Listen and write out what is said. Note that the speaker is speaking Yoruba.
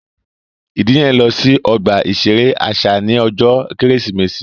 Ìdílé yẹn n lọ sí ọgbà iṣere àṣà ní ọjọ Kérésìmesì